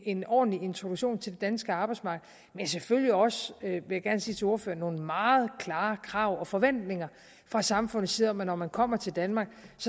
en ordentlig introduktion til det danske arbejdsmarked men selvfølgelig også vil jeg gerne sige til ordføreren nogle meget klare krav og forventninger fra samfundets side om at når man kommer til danmark